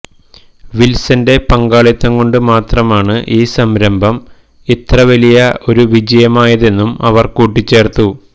വിൽസൻ്റെ പങ്കാളിത്തം കൊണ്ട് മാത്രമാണ് ഈ സംരംഭം ഇത്ര വലിയ ഒരു വിജയമായതെന്നും അവർ കൂട്ടിച്ചേർത്തു